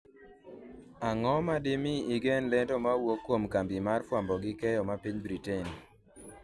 ang'o ma dimi igen lendo mawuok kuom kambi mar fwambo gi keyo ma piny Britain